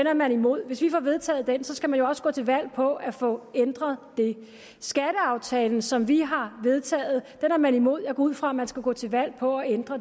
er man imod hvis vi får vedtaget den så skal man jo også gå til valg på at få ændret den skatteaftalen som vi har vedtaget er man imod jeg går ud fra at man skal gå til valg på at ændre